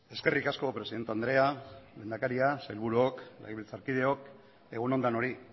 eskerrik asko presidente andrea lehendakaria sailburuok legebiltzarkideok egun on denoi